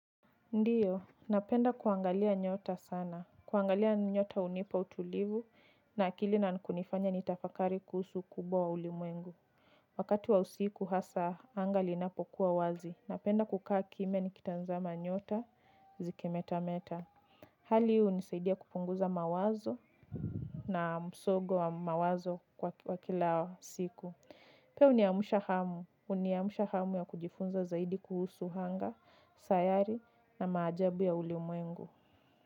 Ndiyo, napenda kuangalia nyota sana. Kuangalia nyota hunipa utulivu na akili na kunifanya nitafakari kuhusu ukubwa wa ulimwengu. Wakati wa usiku hasa anga liinapokuwa wazi. Napenda kukaa kimya nikitazama nyota zikimetameta. Hali huu hunisaidia kupunguza mawazo na msogo wa mawazo kwa kila siku. Pia uniamusha hamu. Uniamusha hamu ya kujifunza zaidi kuhusu anga, sayari na maajabu ya ulimwengu.